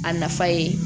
A nafa ye